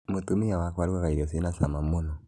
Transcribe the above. Mũtumĩa wakwa arũgaga irĩo cĩina cama mũno